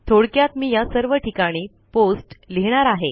थोडक्यात मी या सर्व ठिकाणी पोस्ट लिहिणार आहे